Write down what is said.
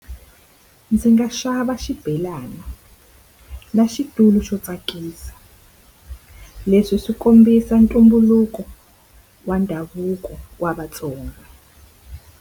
Ndzi nga xava xibelana na xitulu xo tsakisa. Leswi swi kombisa ntumbuluko wa ndhavuko wa Vatsonga.